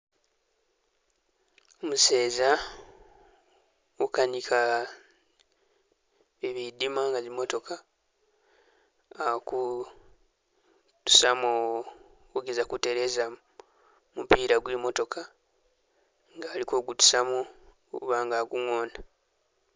Umuseza ukanika bibidima nga zimotoka ali kutusamo, kugezako kuteleza mupila gwe motooka nga ali kugutusamo kubanga agungona.